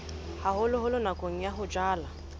haholoholo nakong ya ho jala